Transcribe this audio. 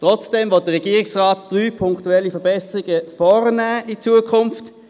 Trotzdem möchte der Regierungsrat in Zukunft drei punktuelle Verbesserungen vornehmen: